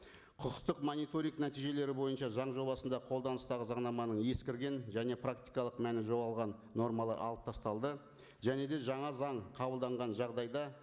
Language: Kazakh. құқықтық мониторинг нәтижелері бойынша заң жобасында қолданыстағы заңнаманың ескірген және практикалық мәні жоғалған нормалар алып тасталды және де жаңа заң қабылданған жағдайда